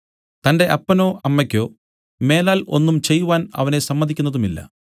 തന്റെ അപ്പനോ അമ്മയ്ക്കോ മേലാൽ ഒന്നും ചെയ്‌വാൻ അവനെ സമ്മതിക്കുന്നതുമില്ല